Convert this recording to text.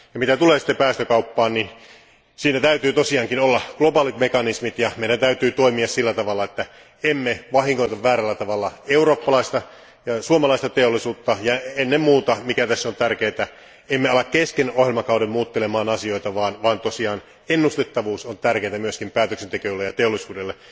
Ja mitä tulee päästökauppaan, niin siitä täytyy olla globaalit mekanismit ja meidän täytyy toimia sillä tavalla, että emme vahingoita väärällä tavalla eurooppalaista ja suomalaista teollisuutta ja ennen muuta, mikä tässä on tärkeää, emme rupea kesken ohjelmakauden muuttelemaan asioita, vaan tosiaan ennustettavuus on tärkeää myös päätöksen tekijöille ja teollisuudelle,